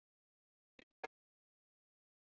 Ég gerði það.